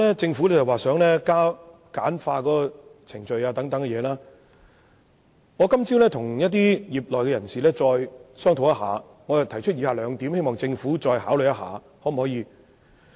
政府現時想簡化程序，我今早與業內人士再作商討，並提出以下兩點建議，希望政府再作考慮。